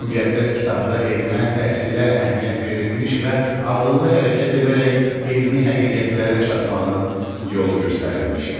Müqəddəs kitabda elmə, təhsilə əhəmiyyət verilmiş və ağıllı hərəkət edərək elmi həqiqətlərə çatmağın yolu göstərilmişdi.